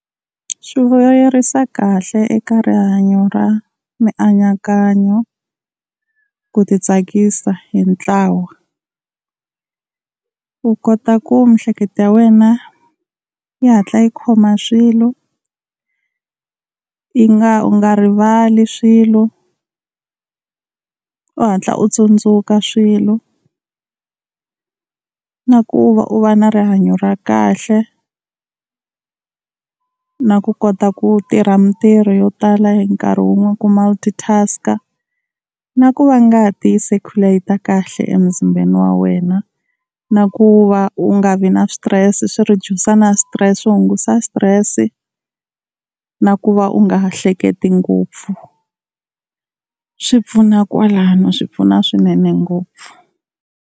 Swi vuyerisa kahle eka rihanyo ra mianakanyo, ku ti tsakisa hi ntlawa. U kota ku miehleketo ya wena yi hatla yi khoma swilo, yi nga u nga rivali swilo, u hatla u tsundzuka swilo na ku va u va na rihanyo ra kahle, na ku kota ku tirha mintirho yo tala hi nkarhi wun'we ku multi-task. Na ku va ngati yi circulate kahle emuzimbeni wa wena. Na ku va u nga vi na switirese swi reduce na stress swi hungusa stress na ku va u nga ha hleketi ngopfu. Swi pfuna kwalano swi pfuna swinene ngopfu.